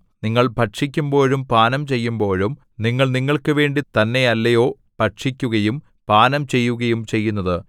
നിങ്ങൾ ഭക്ഷിക്കുമ്പോഴും പാനം ചെയ്യുമ്പോഴും നിങ്ങൾ നിങ്ങൾക്കുവേണ്ടി തന്നെയല്ലയോ ഭക്ഷിക്കുകയും പാനം ചെയ്യുകയും ചെയ്യുന്നത്